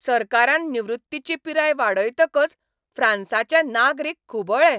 सरकारान निवृत्तीची पिराय वाडयतकच फ्रांसाचे नागरीक खुबळ्ळे.